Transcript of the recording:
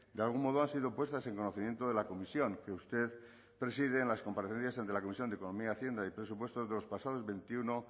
de algún modo han sido puestas en conocimiento de la comisión que usted preside en las comparecencias ante la comisión de economía hacienda y presupuestos los pasados veintiuno